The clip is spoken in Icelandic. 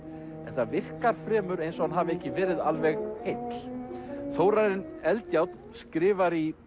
það virkar fremur eins og hann hafi ekki verið alveg heill Þórarinn Eldjárn skrifar í